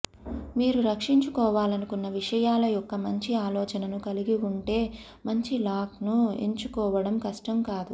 మీరు రక్షించుకోవాలనుకున్న విషయాల యొక్క మంచి ఆలోచనను కలిగి ఉంటే మంచి లాక్ను ఎంచుకోవడం కష్టం కాదు